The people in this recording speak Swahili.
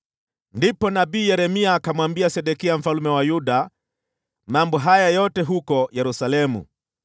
Ndipo nabii Yeremia akamwambia Sedekia mfalme wa Yuda mambo haya yote huko Yerusalemu,